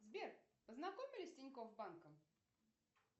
сбер познакомь меня с тинькоф банком